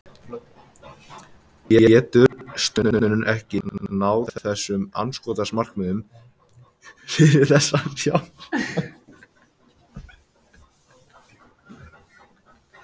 Getur stofnunin ekki náð þessum markmiðum fyrir þessa fjárhæð?